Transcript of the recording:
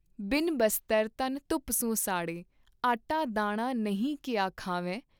ਬਿਨ ਬਸਤਰ ਤਨ ਧੂਪ ਸੁ ਸਾੜੇ ॥ ਆਟਾ ਦਾਣਾ ਨਹੀਂ ਕੀਆ ਖਾਵੈਂ।